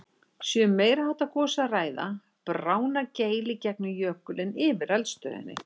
Sé um meiri háttar gos að ræða, bráðnar geil í gegnum jökulinn yfir eldstöðinni.